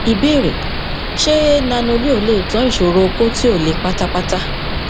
ìbéèrè ṣé nanoleo lè tán ìsòro okó tí ò le pátápátá